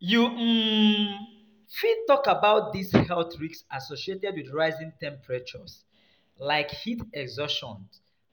You um fit talk about di health risks associated with rising temperatures, like heat exhaustion